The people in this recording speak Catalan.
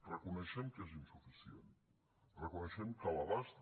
reconeixem que és insuficient reconeixem que l’abast